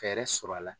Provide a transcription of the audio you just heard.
Fɛɛrɛ sɔrɔ a la